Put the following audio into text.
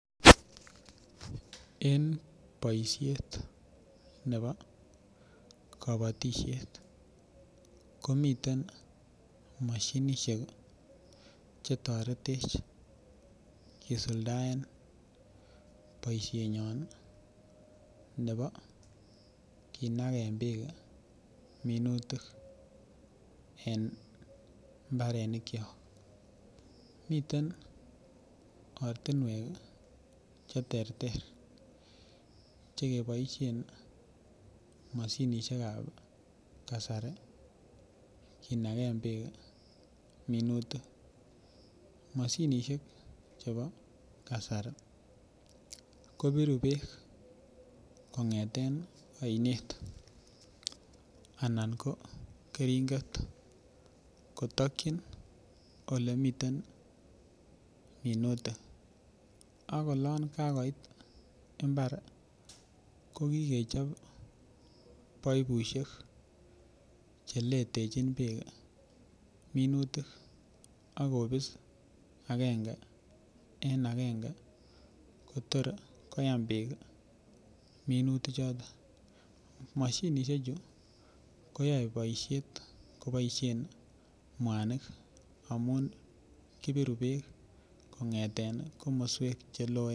En boisiet nepo kapatisiet komiten mashinishiek chetoretech kesuldaen boisiet nyon nepo kinagen peek kemin minutik en imbarenik cho, miten ortinwek cheterter chekepoishen mashinishiek ab kasari kinagen peek minutik mashinishiek chepo kasari kopiru peek kong'eten oinet anan ko keringet kotakchin ole miten minutik ak olon kagoit imbar kokigechop paipusiek cheletechin peek minutik akopis agenge en agenge kotor koyem peek minutik chotok mashinishiek chu koyoe boisiet mwanik amun kipiru peek kong'eten komoswek cheloen.